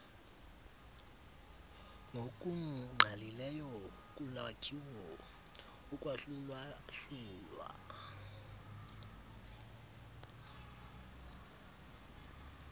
ngokungqalileyo kulwakhiwo ukwahlulwahlulwa